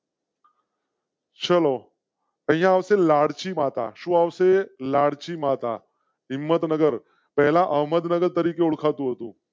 ચલો લાલજી માતા શું આવશે? લાલજી માતા. હિંમતનગર પહેલા અહમદનગર તરીકે ઓળખાતું હતું.